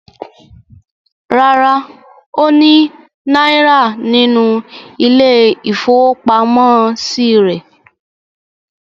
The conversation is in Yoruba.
Rárá, ó ní náírà nínú ilé-ìfowópamọ́sí rẹ̀.